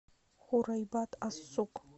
хурайбат ас сук